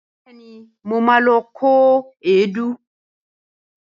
Bẹẹ̀ni, mo ma lọ kó èédú